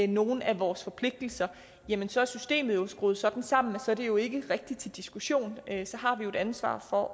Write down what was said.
nogle af vores forpligtelser jamen så er systemet jo skruet sådan sammen at det jo ikke rigtig er til diskussion så har vi jo et ansvar for